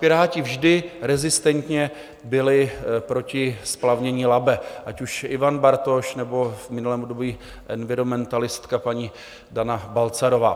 Piráti vždy rezistentně byli proti splavnění Labe, ať už Ivan Bartoš, nebo v minulém období environmentalistka paní Dana Balcarová.